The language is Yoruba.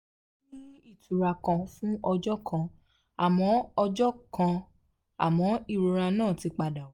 ó ní ìtura kan fún ọjọ́ kan àmọ́ ọjọ́ kan àmọ́ ìrora náà ti padà wá